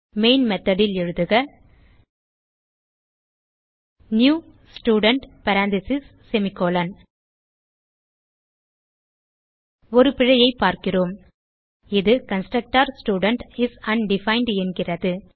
main method ல் எழுதுக new student parenthesis semicolon ஒரு பிழையைப் பார்க்கிறோம் இது கன்ஸ்ட்ரக்டர் ஸ்டூடென்ட் இஸ் அன்டிஃபைண்ட் என்கிறது